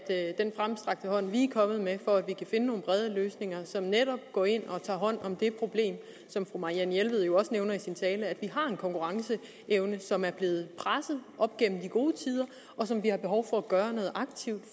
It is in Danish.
af den fremstrakte hånd vi er kommet med for at vi kan finde nogle brede løsninger som netop går ind og tager hånd om det problem som fru marianne jelved jo også nævnte i sin tale nemlig at vi har en konkurrenceevne som er blevet presset op gennem de gode tider og som vi har behov for at gøre noget aktivt